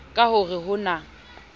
ka ho re ho na